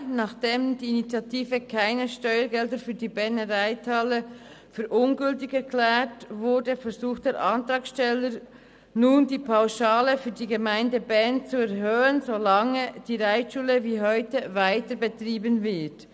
Nachdem die Initiative «Keine Steuergelder für die Berner Reithalle!» für ungültig erklärt worden ist, versucht der Antragsteller nun, die Pauschale für die Gemeinde Bern zu erhöhen, solange die Reitschule wie heute weiterbetrieben wird.